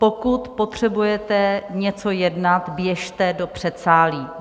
Pokud potřebujete něco jednat, běžte do předsálí.